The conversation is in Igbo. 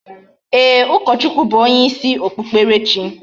Eeh, ukochukwuw bu onye isi okpukperechi